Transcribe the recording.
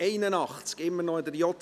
wir sind immer noch in der JGK.